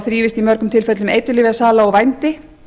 þrífist í mörgum tilfellum eiturlyfjasala og vændi